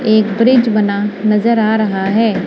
एक ब्रिज बना नजर आ रहा है।